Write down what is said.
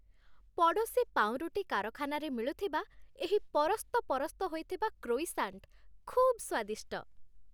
ପଡ଼ୋଶୀ ପାଉଁରୁଟି କାରଖାନାରେ ମିଳୁଥିବା ଏହି ପରସ୍ତପରସ୍ତ ହୋଇଥିବା କ୍ରୋଇସାଣ୍ଟ ଖୁବ୍ ସ୍ୱାଦିଷ୍ଟ।